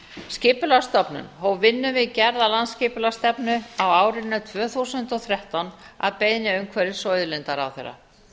skipulagsstofnun hóf vinnu við gerð landsskipulagsstefnu á árinu tvö þúsund og þrettán að beiðni umhverfis og auðlindaráðherra